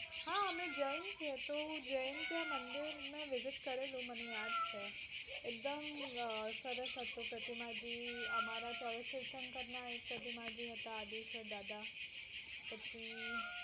હા અમે જૈન છીએ તો જૈન ત્યાં મંદિર માં visit કરેલું મને યાદ છે. એકદમ અમ સરસ હતું અમારા ચાલીશશંકર ના એક હતા આદેશ્વર દાદા પછી